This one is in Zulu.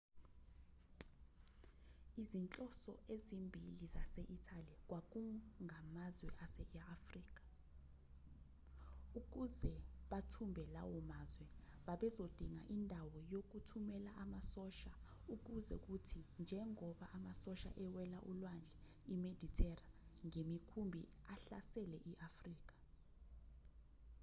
izinhloso eziphambili zase-italy kwakungamazwe ase-afrika ukuze bathumbe lawo mazwe babezodinga indawo yokuthumela amasosha ukuze kuthi njengoba amasosha ewela ulwandle imedithera ngemikhumbi ahlasele i-afrika